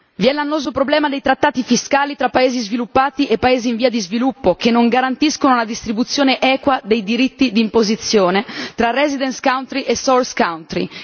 Vi è l'annoso problema dei trattati fiscali tra paesi sviluppati e paesi in via di sviluppo, che non garantiscono la distribuzione equa dei diritti d'imposizione tra residence countr y e source country